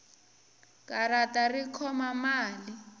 karata ri khoma mali